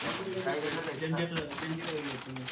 रायगड ला नाय जंजिरा जंजिऱ्याला गेलो होतो मी